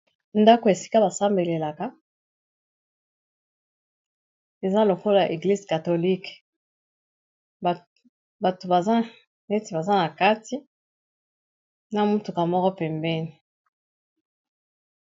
Ndako esika basambelelaka eza lokolo église catholique bato neti baza na kati na mutuka moko pembeni.